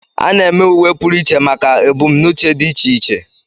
A na-eme uwe pụrụ iche maka ebumnuche dị iche iche.